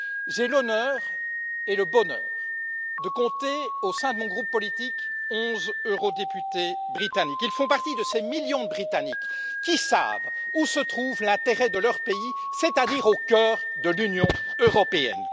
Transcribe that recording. J'ai l'honneur et le bonheur de compter au sein de mon groupe politique 11 eurodéputés britanniques. Ils font partie de ces millions de Britanniques qui savent où se trouve l'intérêt de leur pays, c'est à dire au cœur de l'Union européenne.